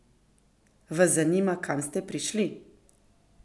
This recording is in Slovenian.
Vas zanima, kam ste prišli?